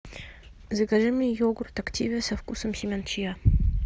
закажи мне йогурт активиа со вкусом семян чиа